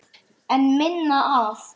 En minna af?